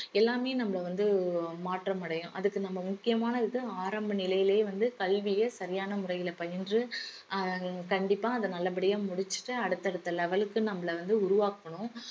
எல்லாமே நம்மள வந்து மாற்றமடையும் அதுக்கு நம்ம முக்கியமானது இது ஆரம்ப நிலையிலேயே வந்து கல்விய சரியான முறையில பயின்று அஹ் கண்டிப்பா அத நல்லபடியா முடிச்சிட்டு அடுத்தடுத்த level க்கு நம்மள வந்து உருவாக்கணும்